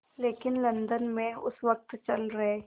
लेकिन लंदन में उस वक़्त चल रहे